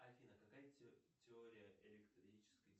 афина какая теория электрической